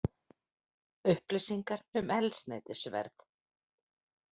Upplýsingar um eldsneytisverð